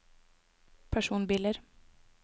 personbiler